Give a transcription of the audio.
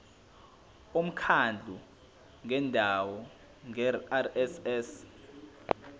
umkhandlu wendawo ngerss